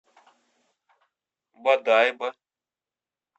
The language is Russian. бодайбо